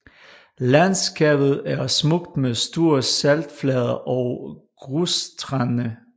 Landskabet er smukt med store saltflader og grusstrande